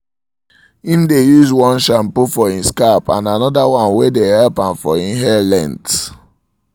im dae use one shampoo for him scalp and another one wae dae help am for im hair length